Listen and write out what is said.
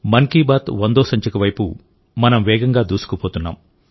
మన్ కీ బాత్ వందో సంచిక వైపు మనం వేగంగా దూసుకుపోతున్నాం